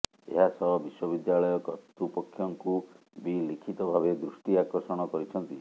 ଏହାସହ ବିଶ୍ବବିଦ୍ୟାଳୟ କର୍ତ୍ତୃପକ୍ଷଙ୍କୁ ବି ଲିଖିତ ଭାବେ ଦୃଷ୍ଟିଆକର୍ଷଣ କରିଛନ୍ତି